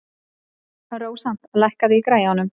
Rósant, lækkaðu í græjunum.